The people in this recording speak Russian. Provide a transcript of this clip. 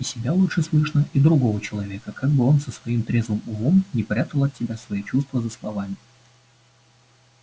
и себя лучше слышно и другого человека как бы он со своим трезвым умом не прятал от тебя свои чувства за словами